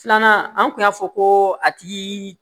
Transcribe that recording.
Filanan an tun y'a fɔ ko a tigi